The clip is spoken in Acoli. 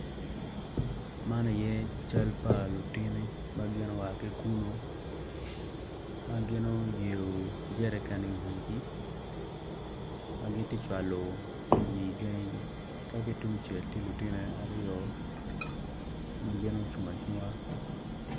Man aye cal pa lutini ma gua ki i kulu ma gin guyeyo jerican i wigi ma gitye ka cwalo pii i gangigi dok ki tung cel tye lutino aryo ma gin gucung acunga.